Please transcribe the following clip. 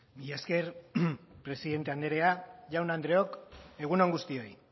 mila esker presidente anderea jaun andreok egun on guztioi